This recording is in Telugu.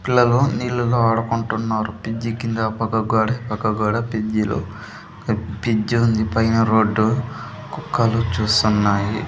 పిల్లలు నీళ్ళులో ఆడుకుంటున్నారు పిజ్జి కింద ఆ పక్క గోడ ఈ పక్క గోడ పిజ్జి లో పిజ్జి ఉంది పైన రోడ్డు కుక్కలు చూస్తున్నాయి.